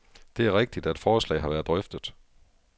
Det er rigtigt, at forslaget har været drøftet.